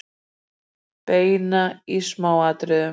Benna í smáatriðum.